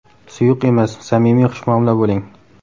Suyuq emas, samimiy xushmuomala bo‘ling.